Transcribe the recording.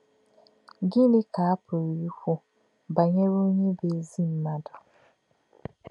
Gịnị̄ kā̄ à pụ̀rụ́ íkwù̄ bá̄nyèrè̄ ọ̀nyé̄ bụ́ ézì mmádụ̄?